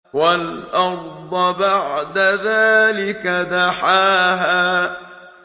وَالْأَرْضَ بَعْدَ ذَٰلِكَ دَحَاهَا